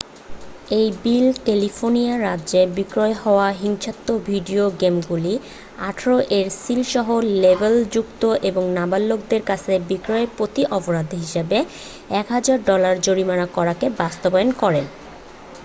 "এই bill California রাজ্যে বিক্রি হওয়া হিংসাত্মক ভিডিও গেমগুলি "১৮" এর সিল সহ লেবেলযুক্ত এবং নাবালকদের কাছে বিক্রির প্রতি অপরাধ হিসাবে ১০০০ ডলার জরিমানা করাকে বাস্তবায়ন করে।